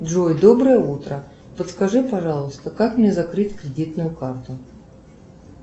джой доброе утро подскажи пожалуйста как мне закрыть кредитную карту